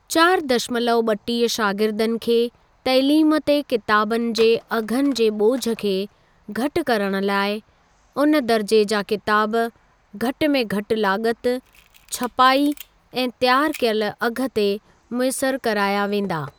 चारि दशमलव ॿटीह शागिर्दनि खे तइलीम ते किताबनि जे अघनि जे ॿोझ खे घटि करण लाइ उन दर्जे जा किताब घटि में घटि लाॻति, छपाई ऐं त्यारु कयल अघु ते मुयसिर कराया वेंदा।